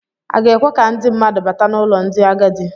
A ga-ekwe ka ndị mmadụ bata n'ụlọ ndị agadi.